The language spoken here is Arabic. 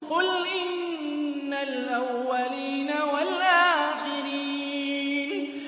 قُلْ إِنَّ الْأَوَّلِينَ وَالْآخِرِينَ